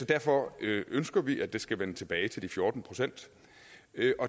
derfor ønsker vi at det skal vende tilbage til de fjorten procent